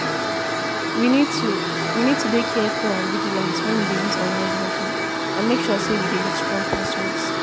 We need to We need to dey careful and vigilant when we dey use online banking and make sure say we dey use strong passwords.